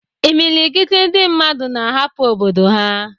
Imilikiti ndị mmadụ na-ahapụ obodo ha